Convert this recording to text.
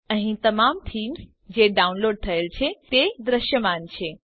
અહીં તમામ થીમ્સ જે ડાઉનલોડ થયેલ છે તે દૃશ્યમાન છે